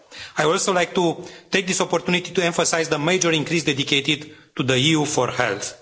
I would also like to take this opportunity to emphasise the major increase dedicated to EU4Health.